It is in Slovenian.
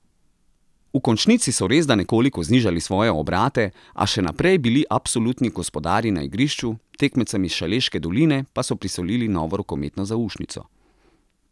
V končnici so resda nekoliko znižali svoje obrate, a še naprej bili absolutni gospodarji na igrišču, tekmecem iz Šaleške doline pa so prisolili novo rokometno zaušnico.